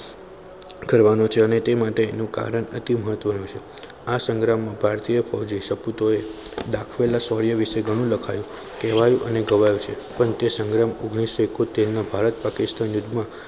કરવાનું છે અને તે માટે એનું કારણ અતિ મહત્વનું છે આ સંગ્રામમાં એના ભારતીય ફોજી શપૃતોએ દાખવેલા શૌર્ય વિશે ઘણું લખાયું કહેવાયું અને ગવાય છે તે સંગ્રામ ઓગણીસો ઈકોતેરના ભારત પાકિસ્તાનના યુદ્ધમાં